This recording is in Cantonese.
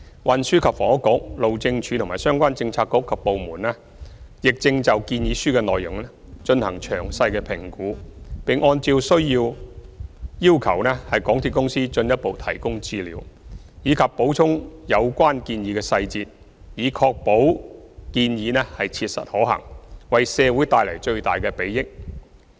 運輸及房屋局、路政署和相關政策局及部門正就建議書的內容進行詳細評估，並按照需要要求港鐵公司進一步提供資料，以及補充有關建議的細節，以確保建議切實可行，為社會帶來最大的裨益。